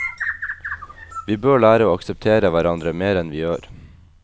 Vi bør lære å akseptere hverandre mer enn vi gjør.